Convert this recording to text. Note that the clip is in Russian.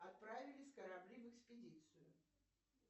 отправились корабли в экспедицию